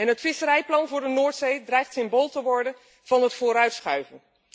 Het visserijplan voor de Noordzee dreigt symbool te worden van het vooruitschuiven.